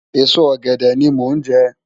Esó ògèdè ni mó nje